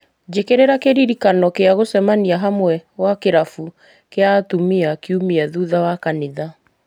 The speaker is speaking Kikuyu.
njĩkĩrĩra kĩririkano kĩa gũcemania hamwe gwa kĩrabu kĩa atumia kiumia thutha wa kanitha